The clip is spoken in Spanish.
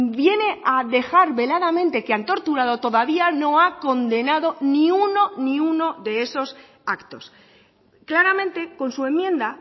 viene a dejar veladamente que han torturado todavía no ha condenado ni uno ni uno de esos actos claramente con su enmienda